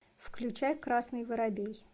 включай красный воробей